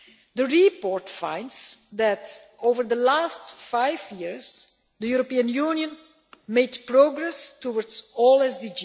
The report finds that, over the last five years, the European Union has made progress towards all SDGs.